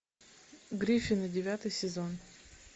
гриффины девятый сезон